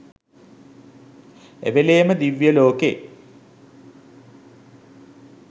එවේලේම දිව්‍ය ලෝකෙ.